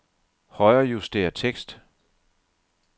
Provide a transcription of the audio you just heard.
Højrejuster tekst.